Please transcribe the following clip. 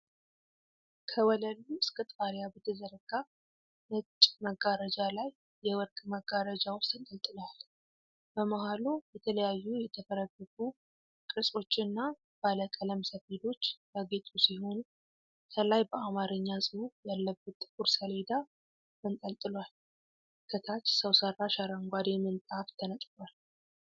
ከወለሉ እስከ ጣሪያ በተዘረጋ ነጭ መጋረጃ ላይ የወርቅ መጋረጃዎች ተንጠልጥለዋል። በመሀሉ የተለያዩ የተፈረገጉ ቅርጾች እና ባለቀለም ሰፌዶች ያጌጡ ሲሆን፣ ከላይ በአማርኛ ጽሑፍ ያለበት ጥቁር ሰሌዳ ተንጠልጥሏል። ከታች ሰው ሠራሽ አረንጓዴ ምንጣፍ ተነጥፏል።